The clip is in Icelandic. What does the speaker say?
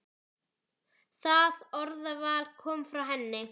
Það orðaval kom frá henni.